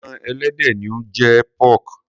Ẹran ẹlẹdẹ ni ó ń jẹ́ pork.